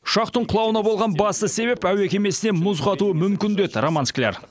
ұшақтың құлауына болған басты себеп әуе кемесіне мұз қатуы мүмкін деді роман скляр